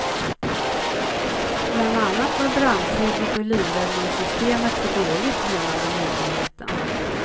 Bland annat var brandskyddet och livräddräddningssystemet för dåligt, menade myndigheten.